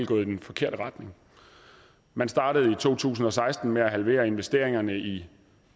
gået i den forkerte retning man startede i to tusind og seksten med at halvere investeringerne i